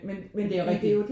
Men det er jo rigtigt